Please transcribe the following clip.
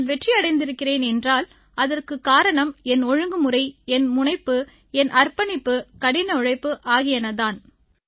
நான் வெற்றியடைந்திருக்கிறேன் என்றால் அதற்குக் காரணம் என் ஒழுங்குமுறை என் முனைப்பு என் அர்ப்பணிப்பு கடின உழைப்பு ஆகியன தான்